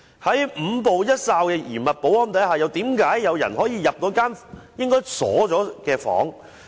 在五步一哨的嚴密保安之下，為何有人可以進入一間應該已經上鎖的房間？